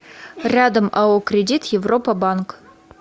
рядом ао кредит европа банк